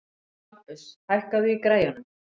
Bambus, hækkaðu í græjunum.